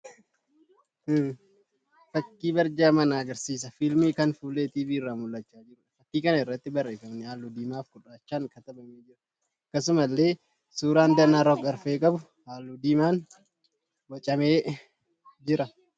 Fakkii barjaa mana agarsiisa fiilmii kan fuullee TV irraa mul'achaa jiruudha. Fakkii kana irratti barreeffamni halluu diimaa fi gurraachaan katabamee jira. Akkasumallee suuraan danaa rog-arfee qabu halluu diimaan boocamee jira.